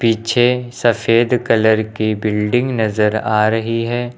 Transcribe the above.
पीछे सफेद कलर की बिल्डिंग नजर आ रही है।